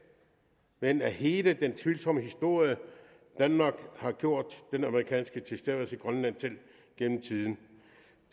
men af hele den tvivlsomme historie danmark har gjort den amerikanske tilstedeværelse i grønland til gennem tiden